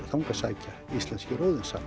þangað sækja íslenskir